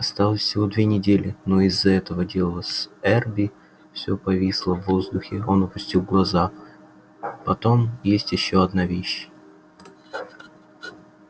осталось всего две недели но из-за этого дела с эрби все повисло в воздухе он опустил глаза потом есть ещё одна вещь